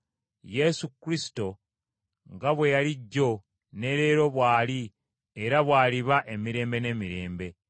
Yesu Kristo nga bwe yali jjo, ne leero bw’ali era bw’aliba emirembe n’emirembe.